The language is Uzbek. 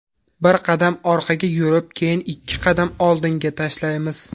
Bir qadam orqaga yurib, keyin ikki qadam oldinga tashlaymiz.